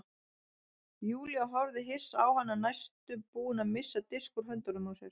Júlía horfði hissa á hana næstum búin að missa disk úr höndunum á sér.